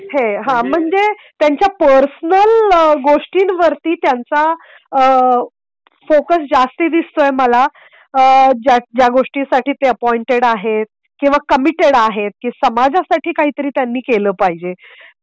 हां म्हणजे, त्यांच्या पर्सनल गोष्टी वरती त्यांचा फोकस जास्ती दिसतोय मला. ज्या गोष्टी साठी ते अपॉइंटेड आहेत किंवा कमिटेड आहेत की समाजासाठी काही तरी त्यांनी केलं पाहिजे.